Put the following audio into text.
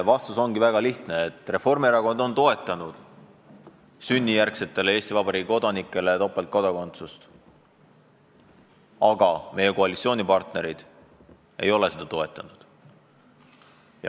Vastus on väga lihtne: Reformierakond on toetanud sünnijärgsetele Eesti Vabariigi kodanikele topeltkodakondsuse lubamist, aga meie koalitsioonipartnerid ei ole seda toetanud.